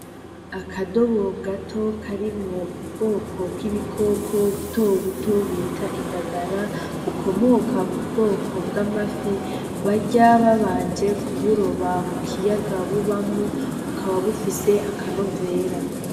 Akadobo gato kari mu bwoko bw'ibikoko butobuto bita indagara bukomoka ku bwoko bw'amafi barya babanje ku buroba mu kiyaga bubamwo ukaba bufise akanovera.